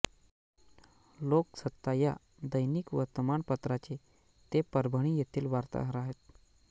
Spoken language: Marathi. लोकसत्ता या दैनिक वर्तमानपत्राचे ते परभणी येथील वार्ताहर आहेत